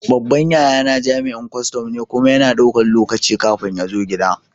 Babban yayana jami'in kustum ne, kuma yana ɗaukan lokaci kafin ya zo gida.